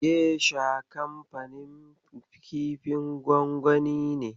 Gesha kanfanin kifin gwangwani ne.